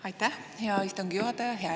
Aitäh, hea istungi juhataja!